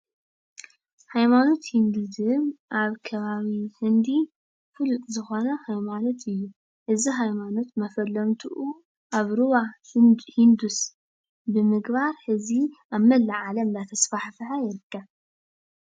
ሃይማኖት ሂንዲዝም ኣብ ከባቢ ህንዲ ፍሉጥ ዝኾነ ሃይማኖት እዩ። እዚ ሃይማኖት መፈለምትኡ ኣብ ሩባ ሂንዱስ ብምግባር ሕዚ ኣብ መላእ ዓለም እንዳተስፋሕፈሐ ይርከብ።